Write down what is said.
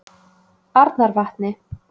Arnarvatni